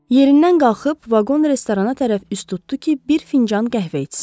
Yerindən qalxıb vaqon restorana tərəf üz tutdu ki, bir fincan qəhvə içsin.